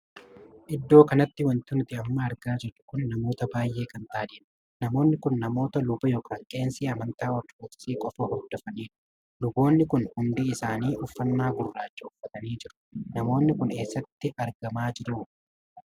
Iddoo kanatti wanti nuti amma argaa jirru kun namootaa baay'ee kan taa'anidha. Namoonni kun namoota luba ykn qeesii amantaa ortodoksii qofa hordofanidha. Luboonni kun hundi isaanii uffannaa gurraachaa uffatanii jiru. Namoonni Kun eessatti argamaa jiru?